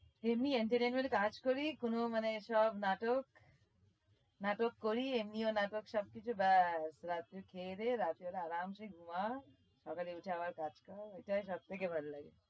এমনি entertainment এ কাজ করি কোনো মানে সব নাটক নাটক করি এমনিও নাটক সবকিছু ব্যস রাত্রি খেয়ে দেয়ে রাত্রিবেলা আরামসে ঘুমা সকালে উঠে আবার কাজ কর এটাই সব থেকে ভাল লাগে।